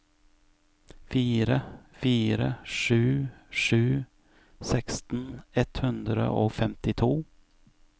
fire fire sju sju seksten ett hundre og femtito